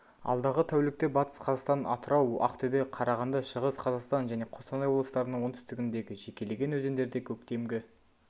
алдағы тәулікте батыс қазақстан атырау ақтөбе қарағанды шығыс қазақстан және қостанай облыстарының оңтүстігіндегі жекелеген өзендерде көктемгі